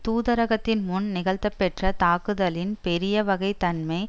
தூதரகத்தின் முன் நிகழ்தப்பெற்ற தாக்குதலின் பெரிய வகை தன்மை